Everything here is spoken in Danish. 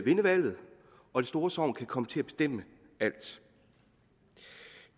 vinde valget og det store sogn kan komme til at bestemme alt